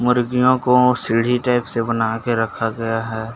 मुर्गिओं को सीढ़ी टाइप से बना के रखा गया है।